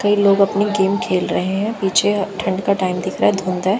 कई लोग अपनी गेम खेल रहे हैं पिछे ठंड का टाइम दिख रहा है धुंद है।